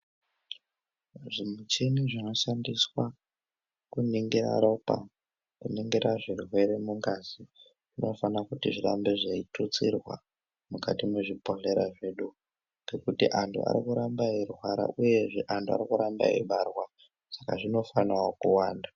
Zvimuchini zvinoshandiswa kuningira ropa, kuningira zvirwere mungazi, zvinofana kuti zvirambe zveitutsirwa mukati mwezvibhedhlera zvedu. Ngekuti antu arikuramba eirwara, uyezve antu arikuramba eibarwa, saka zvinofanawo kuwanda.